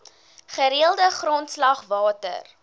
gereelde grondslag water